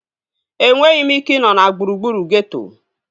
Enweghị m ike ị nọ na gburugburu geeto